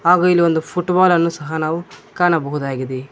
ಹಾಗು ಇಲ್ಲಿ ಒಂದು ಫುಟ್ಬಾಲ್ ಅನ್ನು ಸಹ ಕಾಣಬಹುದಾಗಿದೆ.